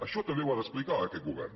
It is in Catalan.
això també ho ha d’explicar aquest govern